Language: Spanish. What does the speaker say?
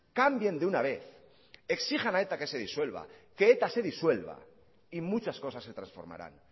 cambien de una vez exijan a eta que se disuelva que eta se disuelva y muchas cosas se transformarán